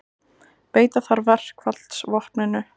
Beita þarf verkfallsvopninu